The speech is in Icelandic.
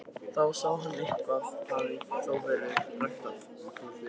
Þá sá hann að eitthvað hafði þó verið ræktað.